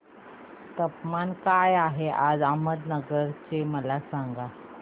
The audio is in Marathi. तापमान काय आहे आज अहमदनगर चे मला सांगा